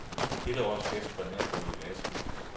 Dette års fest var nær gået i vasken.